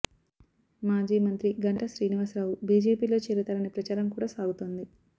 మాజీ మంత్రి గంటా శ్రీనివాసరావు బీజేపీలో చేరుతారనే ప్రచారం కూడ సాగుతోంది